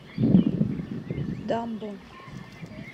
дамбо